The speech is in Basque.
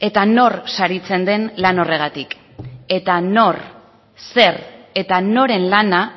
eta nor saritzen den lan horregatik eta nor zer eta noren lana